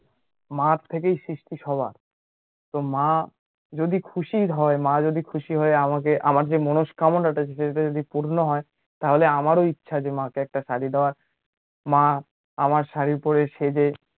মার থেকেই সৃষ্টি সবার, তো মা যদি খুশির হয়, মা যদি খুশি হয়ে যদি আমাকে, আমার যে মনস্কামনাটা আছে সেটা যদি পূর্ণ হয়, তাহলে আমারও ইচ্ছা যে মাকে একটা শাড়ী দেওয়ার, মা আমার শাড়ী পড়ে, সেজে